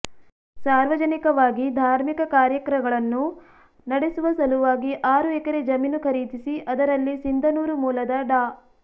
ಸಾರ್ವಜನಿಕವಾಗಿ ಧಾರ್ಮಿಕ ಕಾರ್ಯಕ್ರಗಳನ್ನು ನಡೆಸುವ ಸಲುವಾಗಿ ಆರು ಎಕರೆ ಜಮೀನು ಖರೀದಿಸಿ ಅದರಲ್ಲಿ ಸಿಂಧನೂರು ಮೂಲದ ಡಾ